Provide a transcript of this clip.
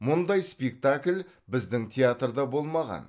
мұндай спектакль біздің театрда болмаған